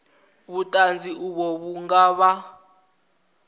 vhuṱanzi uvho vhu nga vha